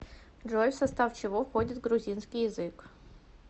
джой в состав чего входит грузинский язык